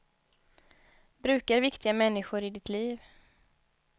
Brukar viktiga människor i ditt liv.